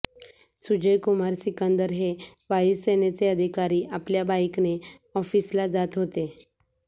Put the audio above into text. सुजय कुमार सिकंदर हे वायूसेनेचे अधिकारी आपल्या बाईकने ऑफिसला जात होते